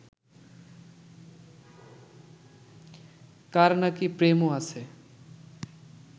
কার নাকি প্রেমও আছে